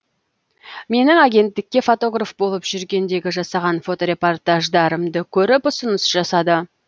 менің агенттікте фотограф болып жүргендегі жасаған фоторепортаждарымды көріп ұсыныс жасады